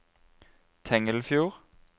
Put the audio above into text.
Tengelfjord